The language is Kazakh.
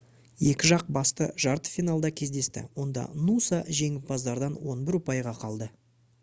екі жақ басты жарты финалда кездесті онда нуса жеңімпаздардан 11 ұпайға қалды